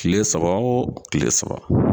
Kile saba o kile saba